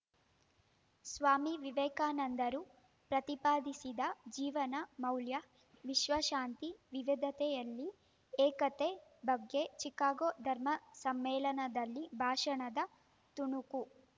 ಸ್ವಾಮಿ ವಿವೇಕಾನಂದರು ಪ್ರತಿಪಾದಿಸಿದ ಜೀವನ ಮೌಲ್ಯ ವಿಶ್ವಶಾಂತಿ ವಿವಿಧತೆಯಲ್ಲಿ ಏಕತೆ ಬಗ್ಗೆ ಚಿಕಾಗೋ ಧರ್ಮ ಸಮ್ಮೇಳನದಲ್ಲಿನ ಭಾಷಣದ ತುಣುಕು